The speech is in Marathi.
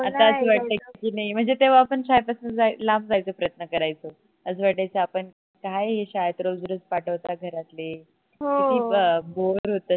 आता अस वाटत कि नाही म्हणजे तेव्हा आपण शाळेपासून जायचं लांब जायचा प्रयत्न करायचो अस वाटायचं आपण काय हे शाळेत रोज रोज पाठवतात घरातले किती bore होत